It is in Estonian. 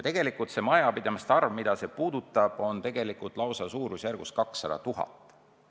Tegelikult nende majapidamiste arv, mida see puudutab, on lausa suurusjärgus 200 000.